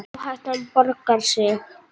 Áhættan borgaði sig.